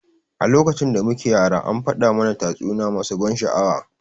A lokacin da muke yara an faɗa mana tatsuniya masu ban sha'awa.